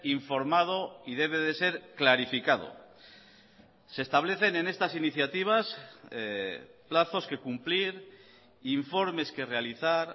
informado y debe de ser clarificado se establecen en estas iniciativas plazos que cumplir informes que realizar